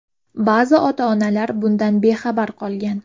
Ba’zi ota-onalar bundan bexabar qolgan.